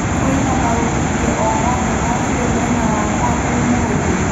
kwĩna maũmithio o mothe ma bũre mwena wakwa ũmũthi